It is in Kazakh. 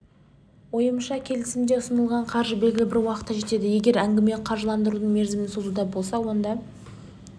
ойымша келісімде ұсынылған қаржы белгілі бір уақытқа жетеді егер әңгіме қаржыландырудың мерзімін созуда болса оны